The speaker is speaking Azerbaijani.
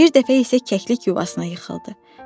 Bir dəfə isə kəklik yuvasına yıxıldı.